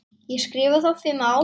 Ég skrifa þá fimm ár.